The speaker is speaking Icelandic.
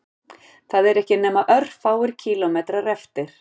Það eru ekki nema örfáir kílómetrar eftir